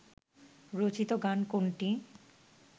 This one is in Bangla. রচিত গান কোনটি